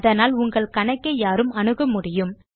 அதனால் உங்கள் கணக்கை யாரும் அணுக முடியும்